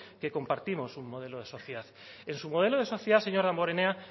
que compartimos un modelo de sociedad en su modelo de sociedad señor damborenea